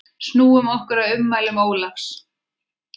Snúum okkur að ummælum Ólafs.